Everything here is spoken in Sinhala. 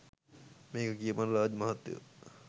මේක කියපං රාජ් මහත්තයෝ